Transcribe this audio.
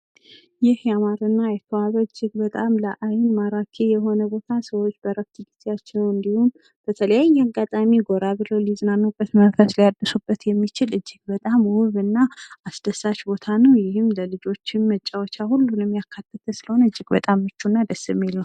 ይህ ያማረና የተዋበ እጅግ በጣም ለአይን ማራኪ የሆነ ቦታ ሰዎች በእረፍት ጊዜአቸው እንዲሁም ቨተለያየ አጋጣሚ ጎራ ብለው ሊዝናኑበት መንፈስ ሊያድሱበት የሚችል እጅግ በጣም ውብ እና አስደሳች ቦታ ነው ይህም ለልጆችም መጫወቻ ሁሉንም ያካተተ ስለሆነ እጅግ በጣም ምቹና ደስ የሚል ነው።